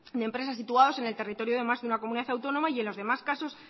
de empresas situados en el territorio de más de una comunidad autónoma y en los demás casos